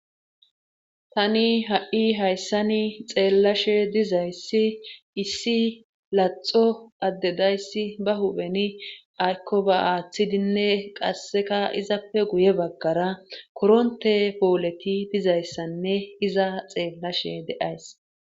tani ha7i hayssani xeellashe dizayssi issi laxo addedayssi ba hubeni aykko ba aaththidinne qasseka izappe guye baggara koronte powoleti dizayssanne iza xeellashe de7ays